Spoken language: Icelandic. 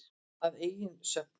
Að eigin sögn.